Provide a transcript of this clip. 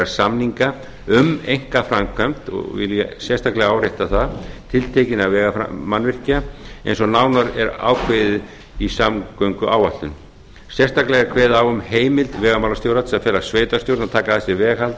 samninga um einkaframkvæmd og vil ég sérstaklega árétta það tiltekinna vegamannvirkja eins og nánar er ákveðið í samgönguáætlun sérstaklega er kveðið á um heimild vegamálastjóra til að fela sveitarstjórn að taka að sér veghald